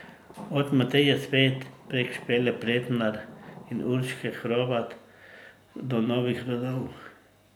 Od Mateje Svet prek Špele Pretnar in Urške Hrovat do novih rodov.